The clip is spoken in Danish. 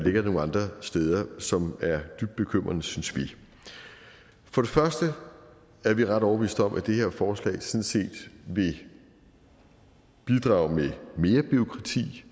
ligger nogle andre steder som er dybt bekymrende synes vi for det første er vi ret overbevist om at det her forslag sådan set vil bidrage med mere bureaukrati